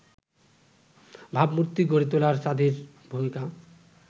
ভাবমূর্তি গড়ে তোলায় যাঁদের ভূমিকা